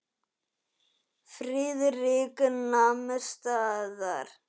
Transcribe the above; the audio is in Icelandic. Friðrik nam staðar.